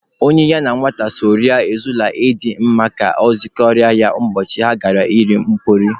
Onye ya na nwata so rie ejula adịghị mma ka ọ gọnahụ ya ụbọchị a ga-eri mpịọrọ.